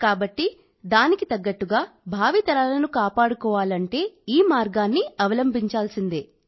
కాబట్టి దానికి తగ్గట్టుగా భావి కుటుంబాన్ని కాపాడుకోవాలంటే ఈ మార్గాన్ని అవలంబించాల్సిందే